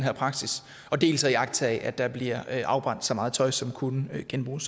her praksis dels at iagttage at der bliver afbrændt så meget tøj som kunne genbruges